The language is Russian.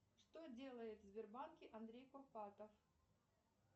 что делает в сбербанке андрей курпатов